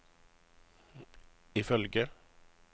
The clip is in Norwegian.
ifølge